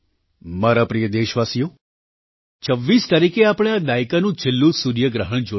મારા પ્રિય દેશવાસીઓ 26 તારીખે આપણે આ દાયકાનું છેલ્લું સૂર્યગ્રહણ જોયું